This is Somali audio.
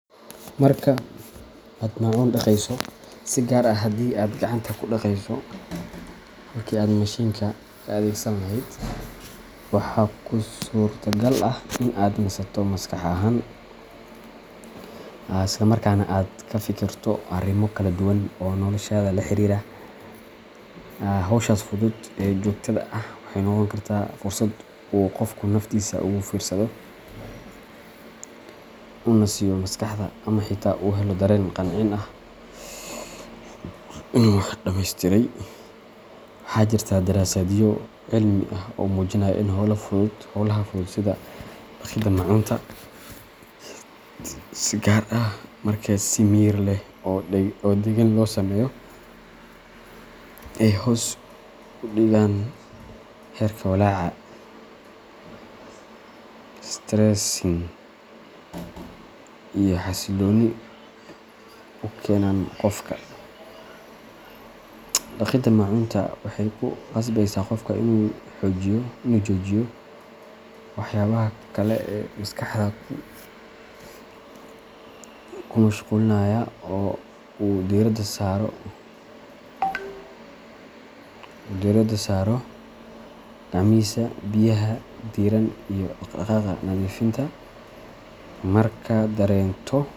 Marka aad maacuun dhaqayso, si gaar ah haddii aad gacanta ku dhaqayso halkii aad mashiinka ka adeegsan lahayd, waxaa kuu suurtagal ah in aad nasato maskax ahaan, isla markaana aad ka fikirto arrimo kala duwan oo noloshaada la xiriira. Hawshaas fudud ee joogtada ah waxay noqon kartaa fursad uu qofku naftiisa ugu fiirsado, u nasiyo maskaxda, ama xitaa u helo dareen qancin ah oo ah inuu wax dhammaystiray. Waxaa jirta daraasadyo cilmi ah oo muujinaya in hawlaha fudud sida dhaqidda maacuunta, si gaar ah marka si miyir leh oo deggan loo sameeyo, ay hoos u dhigaan heerka walaaca stressing iyo xasilooni u keenaan qofka. Dhaqidda maacuunta waxay ku qasbeysaa qofka inuu joojiyo waxyaabaha kale ee maskaxda ku mashquulinaya oo uu diiradda, saaro gacmihiisa, biyaha diirran, iyo dhaq dhaqaaqa nadiifinta markaad dareento.